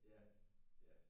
Ja ja